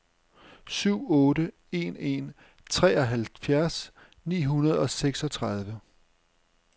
syv otte en en treoghalvfjerds ni hundrede og seksogtredive